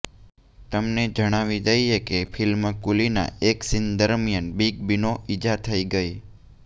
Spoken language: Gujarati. તમને જણાવી દઈએ કે ફિલ્મ કુલીના એક સીન દરમિયાન બિગ બીનો ઈજા થઈ ગઈ